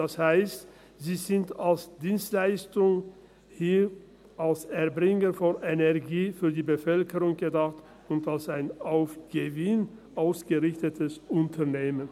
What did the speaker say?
Das heisst, sie sind als Dienstleistung – hier als Erbringer von Energie – für die Bevölkerung gedacht und als ein auf Gewinn ausgerichtetes Unternehmen.